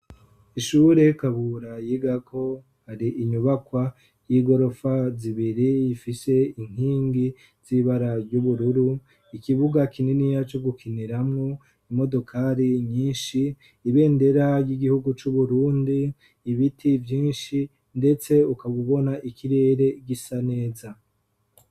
Ishure Kabura yigako hari inyubakwa y'igorofa zibiri zifise inkingi z'ibara ry'ubururu, ikibuga kininiya co gukiniramwo, imodokari nyinshi, ibendera ry'igihugu c'Uburundi, ibiti vyinshi ndetse ukaba ubona ikirere gisa neza.